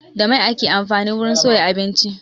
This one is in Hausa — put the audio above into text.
Da mai ake amfani wurin soya abinci.